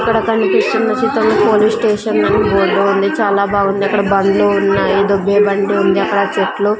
ఇక్కడ కనిపిస్తున్న చిత్రం లో పోలీస్ స్టేషన్ అని బోర్డు ఉంది చాలా బాగుంది అక్కడ బండ్లు ఉన్నాయి దొబ్బే బండి ఉంది అక్కడ చెట్లు --